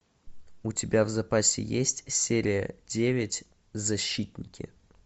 у тебя в запасе есть серия девять защитники